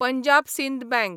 Punjab Sind bank